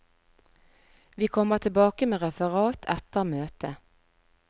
Vi kommer tilbake med referat etter møtet.